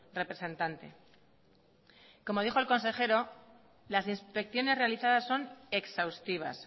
representante como dijo el consejero las inspecciones realizadas son exhaustivas